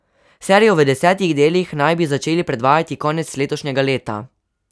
Serijo v desetih delih naj bi začeli predvajati konec letošnjega leta.